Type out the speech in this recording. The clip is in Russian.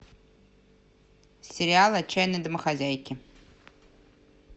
сериал отчаянные домохозяйки